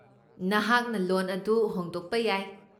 ꯅꯍꯥꯛꯅ ꯂꯣꯟ ꯑꯗꯨ ꯍꯣꯡꯗꯣꯛꯄ ꯌꯥꯏ꯫